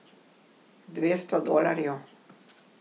Dvesto dolarjev.